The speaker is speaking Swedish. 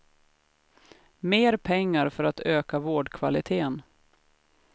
Mer pengar för att öka vårdkvalitén.